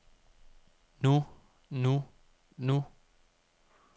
nu nu nu